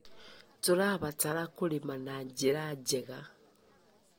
Tũrabatara kũrĩma na njĩra njega.